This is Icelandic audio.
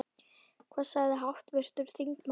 Hvað sagði háttvirtur þingmaður?